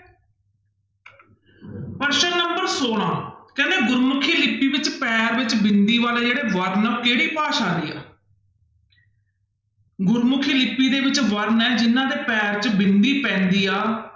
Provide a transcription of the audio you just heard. ਪ੍ਰਸ਼ਨ number ਛੋਲਾਂ ਕਹਿੰਦੇ ਗੁਰਮੁਖੀ ਲਿਪੀ ਵਿੱਚ ਪੈਰ੍ਹ ਵਿੱਚ ਬਿੰਦੀ ਵਾਲੇ ਜਿਹੜੇ ਵਰਨ ਆ ਉਹ ਕਿਹੜੀ ਭਾਸ਼ਾ ਦੇ ਆ ਗੁਰਮੁਖੀ ਲਿਪੀ ਦੇ ਵਿੱਚ ਵਰਨ ਹੈ ਜਿਹਨਾਂ ਦੇ ਪੈਰ੍ਹ ਚ ਬਿੰਦੀ ਪੈਂਦੀ ਆ,